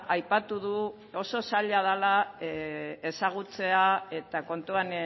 aipatu du oso zaila dela ezagutzea eta kontuan